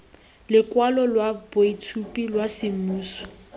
lokwalo lwa boitshupo lwa semmuso